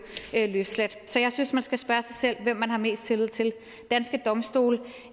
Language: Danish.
løsladt så jeg synes man skal spørge sig selv hvem man har mest tillid til danske domstole